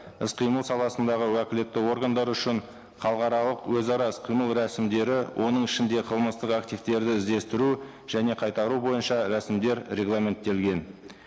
іс қимыл саласындағы уәкілетті органдар үшін халықаралық өзара іс қимыл рәсімдері оның ішінде қылмыстық активтерді іздестіру және қайтару бойынша рәсімдер регламенттелген